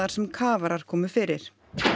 sem kafarar komu fyrir